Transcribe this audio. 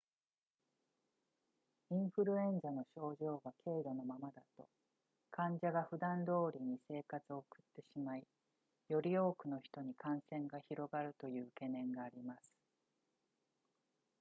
インフルエンザの症状が軽度のままだと患者がふだんどおりに生活を送ってしまいより多くの人に感染が広がるという懸念があります